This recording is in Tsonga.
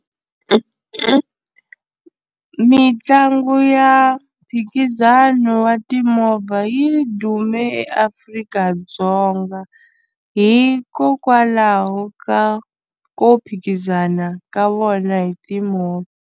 Mitlangu ya mphikizano wa timovha yi dume eAfrika-Dzonga hikokwalaho ka ko phikizana ka vona hi timovha.